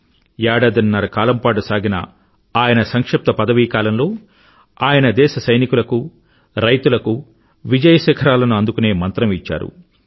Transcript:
ఏదాదిన్నర కాలం పాటు సాగిన ఆయన సంక్షిప్త పదవీ కాలంలో ఆయన దేశ సైనికులకు రైతులకు విజయశిఖరాలను అందుకునే మంత్రం ఇచ్చారు